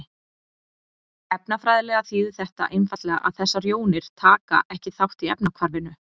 Efnafræðilega þýðir þetta einfaldlega að þessar jónir taka ekki þátt í efnahvarfinu.